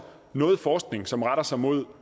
noget forskning som retter sig mod